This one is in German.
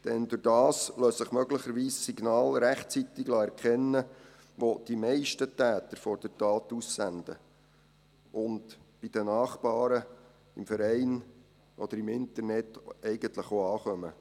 Denn dadurch lassen sich möglicherweise Signale rechtzeitig erkennen, welche die meisten Täter vor der Tat aussenden, und die bei den Nachbaren, im Verein oder im Internet eigentlich auch ankommen.